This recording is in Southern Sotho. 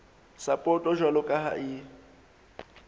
sapoto jwalo ka ha e